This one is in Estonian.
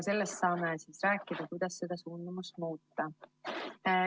Sellest saame veel rääkida, kuidas seda suundumust muuta.